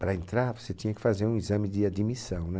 Para entrar, você tinha que fazer um exame de admissão, né?